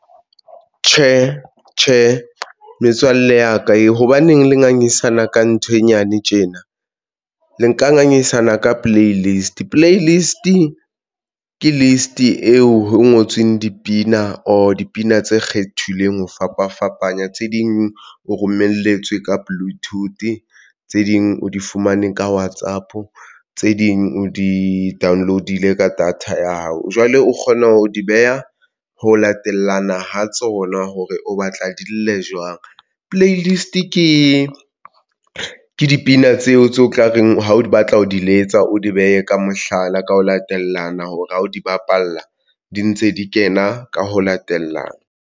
Tjhe, tjhe, metswalle ya ka e hobaneng le ngangisana ka ntho e nyane tjena le nka ngangisana ka play list. Play list ke list eo ngotsweng dipina or dipina tse kgethilweng ho fapafapana tse ding o romelletswe ka bluetooth tse ding o di fumane ka WhatsApp, tse ding o di-download-ile ka data ya hao jwale o kgona ho di beha ho latellana ho tsona hore o batla di lle jwang. Playlist ke dipina tseo tse o tla reng ha o batla ho di letsa, o di behe ka mohlala, ka ho latellana hore ha o di bapala di ntse di kena ka ho latellana.